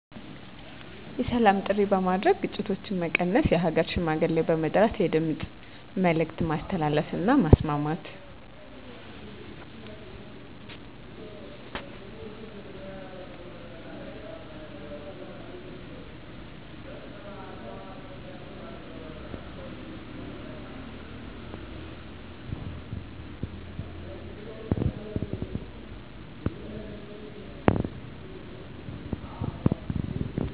የሰላም ጥሪ በማድረግ ግጭቶች መቀነስ የሃገር ሽማግሌ በመጥራት የድምፅ መልዕክት ማስተላለፍ እና ማስማማት